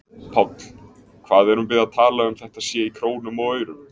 Páll: Hvað erum við að tala um þetta sé í krónum og aurum?